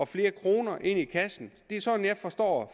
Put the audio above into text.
flere kroner i kassen det er sådan jeg forstår